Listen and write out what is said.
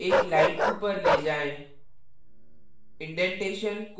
cursor को एक line ऊपर ले जाएं